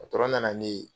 nana ne ye